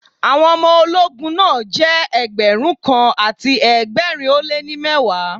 Àwọn ọmọ ológun náà jẹ́ Ẹgbẹ̀rún kan àti ẹgbẹ̀rin ó lé ní mẹ́wàá.